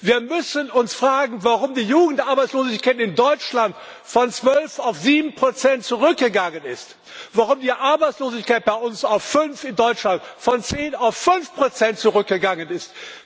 Wir müssen uns fragen, warum die Jugendarbeitslosigkeit in Deutschland von zwölf auf sieben Prozent zurückgegangen ist, warum die Arbeitslosigkeit bei uns in Deutschland von zehn auf fünf Prozent zurückgegangen ist.